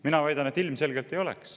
Mina väidan, et ilmselgelt ei oleks.